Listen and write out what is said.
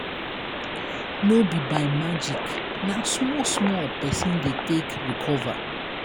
no be by magic na small small pesin dey take recover.